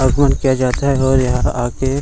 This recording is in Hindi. आगमन किया जाता है और यहाँ आके --